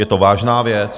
Je to vážná věc.